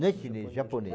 Não é chinês, é japonês.